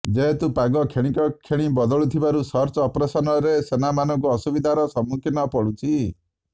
ଯେହେତୁ ପାଗ କ୍ଷଣିକ କ୍ଷଣି ବଦଳୁଥିବାରୁ ସର୍ଚ୍ଚ ଅପରେସନ୍ରେ ସେନାମାନଙ୍କୁ ଅସୁବିଧାର ସମ୍ମୁଖୀନ ପଡ଼ୁଛି